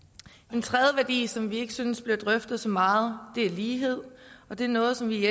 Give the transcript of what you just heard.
en tredje værdi som vi ikke synes bliver drøftet så meget er lighed og det er noget som vi i